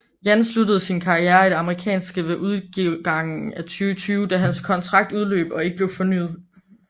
Jan sluttede sin karriere i det amerikanske ved udgangen af 2020 da hans kontrakt udløb og ikke blev fornyet